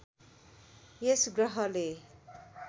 यस ग्रहले